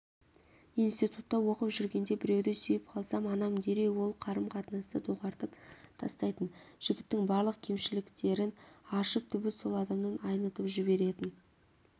институтта оқып жүргенде біреуді сүйіп қалсам анам дереу ол қарым-қатынасты доғартып тастайтын жігіттің барлық кемшіліктерін ашып түбі сол адамнан айнытып жіберетін